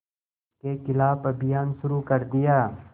के ख़िलाफ़ अभियान शुरू कर दिया